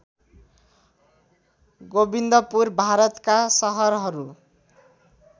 गोबिंदपुर भारतका सहरहरू